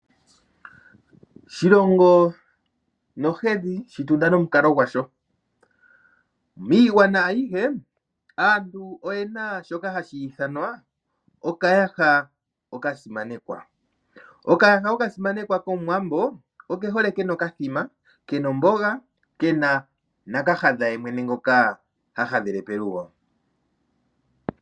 ''Shilongo nohedhi, shitunda nomukalo gwasho''. Miigwana ayihe aantu oyena shoka hashi ithanwa okayaha okasimanekwa. Okayaha oka simanekwa kOmuwambo oke hole kena okathima, kena omboga kena na kahadha ye mwene ngoka ha hadhele pelugo.